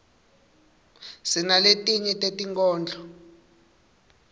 sinaletinye tetinkhondlo